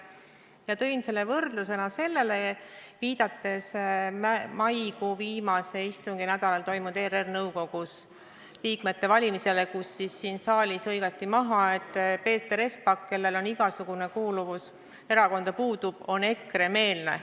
Ma tõin selle võrdlusena, viidates maikuu viimasel istunginädalal ERR-i nõukogu liikmete valimisele, kui siin saalis hõigati maha, et Peeter Espak, kellel igasugune erakonda kuuluvus puudub, on EKRE-meelne.